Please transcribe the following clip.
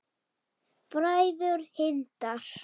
Bræður Hindar